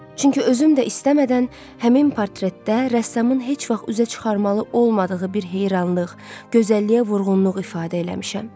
Çünki özüm də istəmədən həmin portretdə rəssamın heç vaxt üzə çıxarmalı olmadığı bir heyranlıq, gözəlliyə vurğunluq ifadə eləmişəm.